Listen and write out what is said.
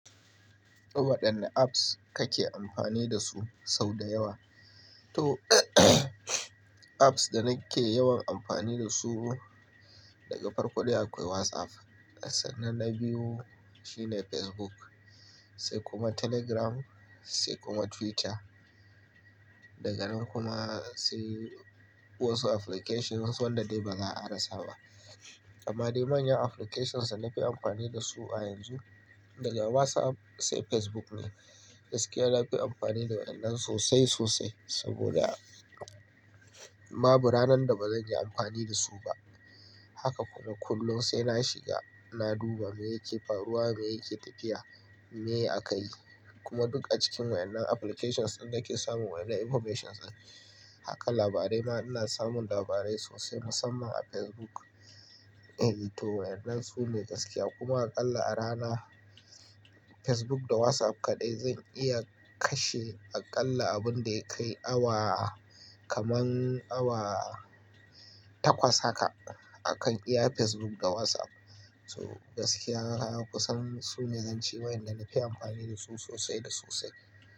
Waɗanne apps kake amfani dasu sau da yawa? To, apps da nake yawan amfani dasu, daga farko dai akwai WhatsApp, sannan na biyu shine Facebook, sai kuma Telegram, sai kuma Twitter. Daga nan kuma sai wasu applications wasu wanda dai ba za a rasa ba. Amma dai manyan applications da na fi amfani dasu a yanzu, daga WhatsApp sai Facebook ne. Gaskiya na fi amfani da waɗannan sosai sosai saboda babu ranar da ba zan yi amfani da su ba. Haka kuwa kullum sai na shiga, na duba me yake faruwa, me yake tafiya, me akayi. Kuma duk a cikin waɗannan applications din nake samun wa'yannan informations. Haka labarai ma ina samun labarai sosai musamman a Facebook. Eh to wa'yannan su ne gaskiya kuma aƙalla a rana Facebook da WhatsApp kaɗai zan iya kashe aƙalla abin da ya kai awa, kaman awa takwas haka. A kan iya Facebook da WhatsApp. To gaskiya kusan su ne zan ce wa'yanda na fi amfani da su sosai da sosai.